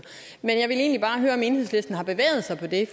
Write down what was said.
jeg vil egentlig bare høre om enhedslisten har bevæget sig på det